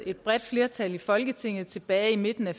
et bredt flertal i folketinget tilbage i midten af